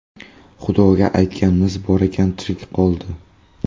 Xudoga aytganimiz bor ekan, tirik qoldi.